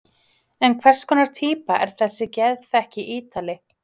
En hvers konar týpa er þessi geðþekki Ítali?